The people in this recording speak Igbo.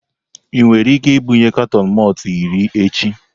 Ị nwere ike ibunye katọn malt iri echi?